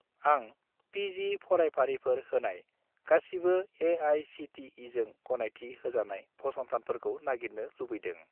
आं पि.जि. फरायफारिफोर होनाय गासिबो ए.आइ.सि.टि.इ.जों गनायथि होजानाय फसंथानफोरखौ नागिरनो लुबैदों।